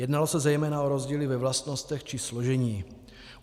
Jednalo se zejména o rozdíly ve vlastnostech či složení.